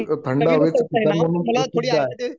थंड हवेल ठिकाण म्हणून